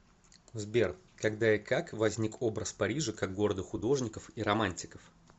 сбер когда и как возник образ парижа как города художников и романтиков